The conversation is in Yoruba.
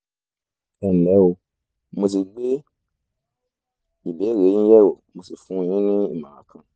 ẹnlẹ́ o mo ti gbé ìbéèrè yín yẹ̀wò mo sì fún yín ní ìmọ̀ràn kan